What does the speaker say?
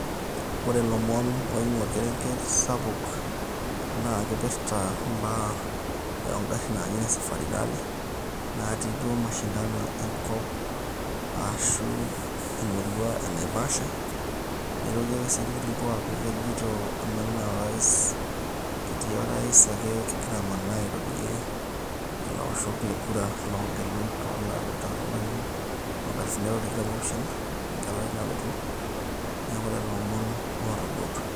Ore ilomon ooing'uaa orkereng'et naa kipirta imbaa oo ngarrin naaji ine safari rally, naati duo mashindano enkop ashu emurua e Naivasha, neitoki ake sii irkiliku aaku kejito kemenaa orais, ketii orais ake kegira amanaa airorie ilaoshok le kura loogelu toolarrin loonkalifuni are oo tikitam oopishana, engeleare nalotu. Neeku lelo omoon ootabautua.